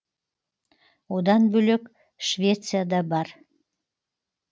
одан бөлек швеция да бар